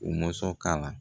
U mɔsɔn ka la